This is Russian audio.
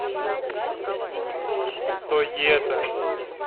тоета